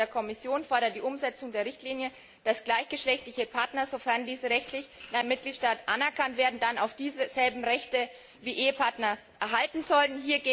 Nach Auffassung der Kommission erfordert die Umsetzung der Richtlinie, dass gleichgeschlechtliche Partner, sofern diese rechtlich in einem Mitgliedstaat anerkannt werden, dann auch dieselben Rechte wie Ehepartner erhalten sollten.